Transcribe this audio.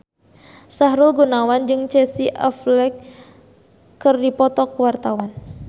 Sahrul Gunawan jeung Casey Affleck keur dipoto ku wartawan